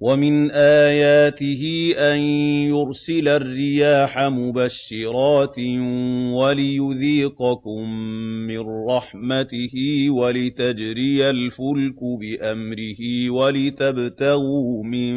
وَمِنْ آيَاتِهِ أَن يُرْسِلَ الرِّيَاحَ مُبَشِّرَاتٍ وَلِيُذِيقَكُم مِّن رَّحْمَتِهِ وَلِتَجْرِيَ الْفُلْكُ بِأَمْرِهِ وَلِتَبْتَغُوا مِن